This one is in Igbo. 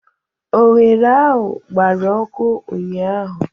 Oghere ahụ gbara ọkụ ụnyaahụ